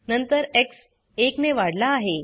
नंतर एक्स एक ने वाढला आहे